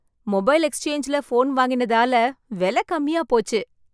Mobile எக்ஸ்சேஞ்சில phone வாங்கினதான விலை கம்மியா போச்சு.